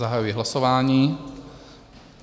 Zahajuji hlasování.